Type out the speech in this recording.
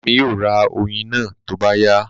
Bàbá mi yóò ra oyin náà tó bá yá